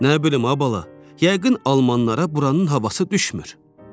Nə bilim, ay bala, yəqin Almanlara buranın havası düşmür.